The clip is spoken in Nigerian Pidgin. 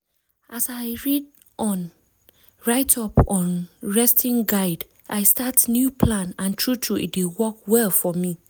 as i read on write up on resting guide i start new plan and true true e dey work well for me.